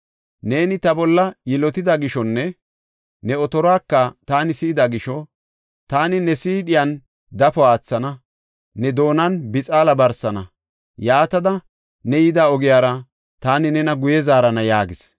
Neeni ta bolla yilotida gishonne ne otoruwaka taani si7ida gisho, taani ne siidhiyan dafo aathana; ne doonan bixaala barsana. Yaatada ne yida ogiyara taani nena guye zaarana” yaagis.